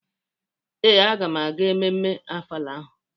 Ee, agam aga emume Ofala ahụ.